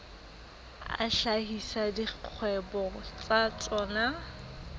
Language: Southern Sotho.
a hlahisa dikgwebo tsa tsona